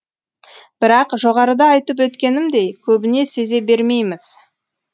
бірақ жоғарыда айтып өткенімдей көбіне сезе бермейміз